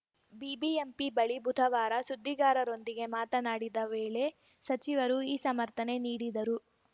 BBMP ಬಳಿ ಬುಧವಾರ ಸುದ್ದಿಗಾರರೊಂದಿಗೆ ಮಾತನಾಡಿದ ವೇಳೆ ಸಚಿವರು ಈ ಸಮರ್ಥನೆ ನೀಡಿದರು